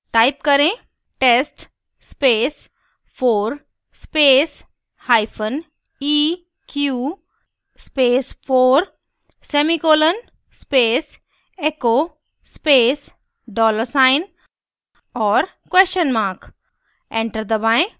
type करें: test space 4 space hyphen eq space 4 semicolon space echo space dollar sign और question mark enter दबाएं